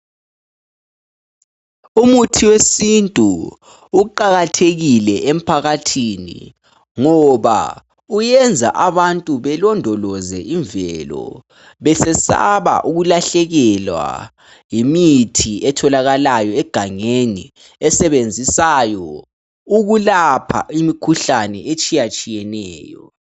Umuthi wesintu uqakathekile emphakathini ngoba uyenza abantu belondoloze imvelo besesaba ukulahlekelwa yimithi etholakalayo egangeni esebenzisayo ukulapha imikhuhlane etshiyetshiyeneyo.